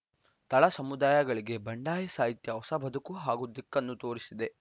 ತಳ ಸಮುದಾಯಗಳಿಗೆ ಬಂಡಾಯ ಸಾಹಿತ್ಯ ಹೊಸ ಬದುಕು ಹಾಗೂ ದಿಕ್ಕನ್ನು ತೋರಿಸಿದೆ